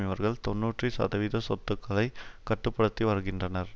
இவர்கள் தொன்னூற்றி சதவீத சொத்துகளை கட்டு படுத்தி வருகின்றனர்